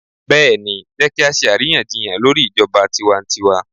Bẹ́ẹ̀ni, Jẹ́ kí á ṣe àríyànjiyàn lórí ijọba tiwantiwa.